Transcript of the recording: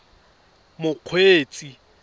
mokgweetsi